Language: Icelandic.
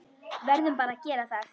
Verðum bara að gera það.